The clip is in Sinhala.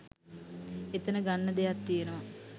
එතන ගන්න දෙයක් තියනවා